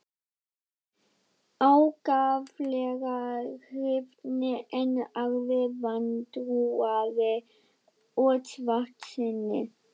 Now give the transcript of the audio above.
Sumir ákaflega hrifnir en aðrir vantrúaðir og svartsýnir.